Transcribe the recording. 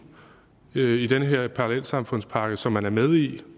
i den her parallelsamfundspakke som man er med i